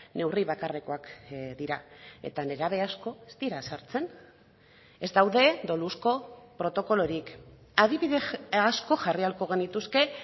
neurri bakarrekoak dira eta nerabe asko ez dira sartzen ez daude doluzko protokolorik adibide asko jarri ahalko genituzke